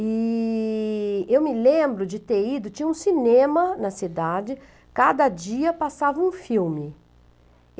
E eu me lembro de ter ido, tinha um cinema na cidade, cada dia passava um filme.